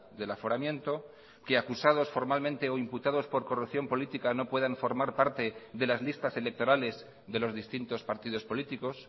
del aforamiento que acusados formalmente o imputados por corrupción política no puedan formar parte de las listas electorales de los distintos partidos políticos